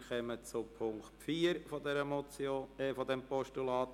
Wir kommen zum Punkt 4 dieses Postulats.